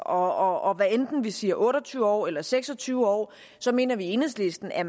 og hvad enten vi siger otte og tyve år eller seks og tyve år mener vi i enhedslisten at